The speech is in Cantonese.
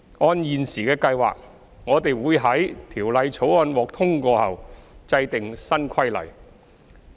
按現時的計劃，我們會在《條例草案》獲通過後制定新規例。